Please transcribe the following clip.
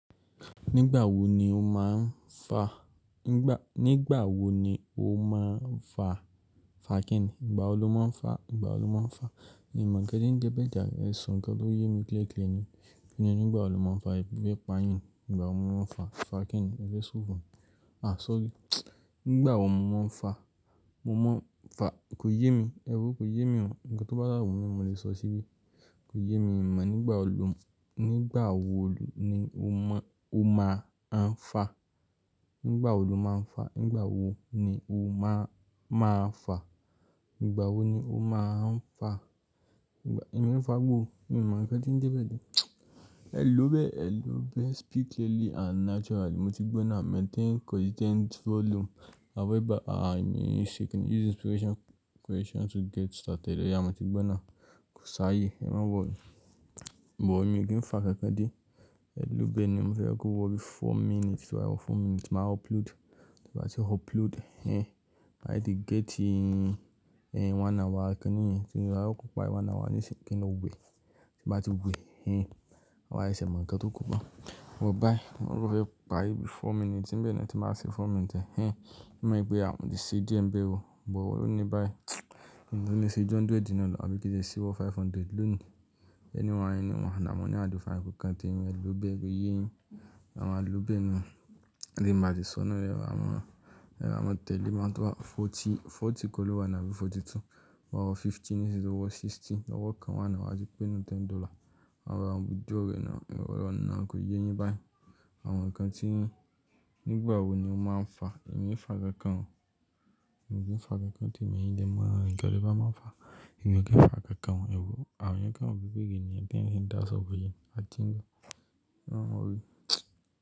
Nígbà wo ni o máa ń fa? Nigba Nígbà wo ni o máa ń fa, fa kẹ́ni? Nígbà wo lo máa ń fa? Nígbà wo lo máa ń fa? E mo ńkan ti ń jẹ printer, ẹ sọ nǹkan tó yẹ mi clear clear ni. Kí ni nígbà wo lo máa ń fa ebi fe pa yín? Nígbà wo lo máa ń fa, fa kẹ́ni? Ẹ fẹ́ ṣòfò. À, ṣóòrí. Nígbà wo mo máa ń fa? Mo máa ń fa-- kò yé mi. Ẹ̀wù, kò yé mi mọ̀. Ǹkan tó bá sa wun mí mo lè sọ sí. Kò yé mi mọ̀ nígbà wo lo, nígbà wo lo ni o mọ, o máa ń fa? Nígbà wo lo máa ń fa? Nígbà wo ni o máa, máa fa? Nígbà wo ni o máa ń fa? Nígbà-- èmi ò fagbo o. Mi o mo nkan ti je beyan. Ẹ lòó bẹ́ẹ̀, ẹ lòó bẹ́ẹ̀. Speak clearly and naturally. Mo ti gbọ́ náà. Maintain consistent volume. Àwọn ìbá àìní ṣe kẹ́ni. Use inspiration, inspiration to get started. Ẹ ya, mo ti gbọ́ náà. Ko ṣáayè. Ẹ máa wọ̀. But mi kí n fa kẹ́kẹ́ dé. Ẹ lòó bẹ́ẹ̀ ni mo fẹ́ kó wọ bí i four minutes. Wá, four minutes. Máa upload. Tí bá ti upload, ẹ́h, màá tete get í, ẹ́h, one hour kẹ́ni yan. Tí wà á kó pa one hour níṣi kẹ́ni lọ gbé. Tí bá ti gbé, ẹ́h, wà á ṣe ǹkan tó kù pa. Wò bá yi, wọ́n rọ́ ẹ pa yìí bí i four minutes. Ǹbí èmi ni tí màá ṣe four minutes ẹ́h, ẹ mọ̀ pé a ò ní ṣe díẹ̀ ń bẹ ò. But Wò ó ní bá yii. Mo le ṣe ju hundred náà lo tabíi kí le ṣe wọ five hundred lónìí. Ẹni mọ̀ ẹnì, mọ̀nà mọ́ ni a lọ fàá. Ko kan téèmi ẹ lòó bẹ́ẹ̀ niyan o A máa lòó bẹ́ẹ̀ ni o. Ẹ lè máa ti sọ́nà. Ẹ báa mọ̀, ẹ báa mọ̀ tẹ́lẹ̀ máa tó bá forty, forty ko lo wà náà bí i forty-two. Wọ́ọ́ fifty nísinsinyí tó wọ sixty. Ọwọ́ kan wa ni wà á gbé nínú ten dollar. E bami blow re now. Ẹ wò wa ni now kò yéyẹ́ bá yẹn. Àwọn ǹkan tí ń Nígbà wo ni o máa ń fa? Èmi ò ní fa kankan o. Mi o ní fa kankan tí èmi yẹn dẹ mọ́. Ǹkan tí bá máa ń fa. Nkan mo ro o Àwọn ǹkan òbíbí gidi ni ẹ́ dẹ́ ń ṣe dáàsọ́ fún yi. A ti ń. E máa worry.